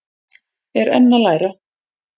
Er enn að læra